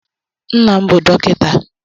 Nna m bụ Dọkịta.